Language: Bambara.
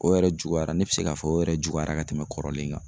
O yɛrɛ juguyara ne be se k'a fɔ o yɛrɛ juguyara ka tɛmɛ kɔrɔlen kan.